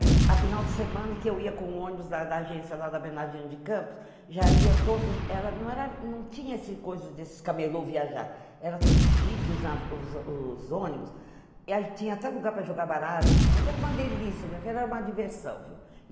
É. Afinal, de semana que eu ia com ônibus da agência lá da Abenadinho de Campos, já ia todos, era, não era, não tinha esse, coisa desses camelô viajar, era tudo chique, os ônibus, e aí tinha até lugar para jogar baralho de noite, era uma delícia, minha filha, era uma diversão, viu?